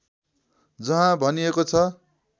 जहाँ भनिएको छ